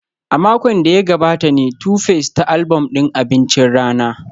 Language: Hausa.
A makon da ya gabata ne Tuface ta album din abincin rana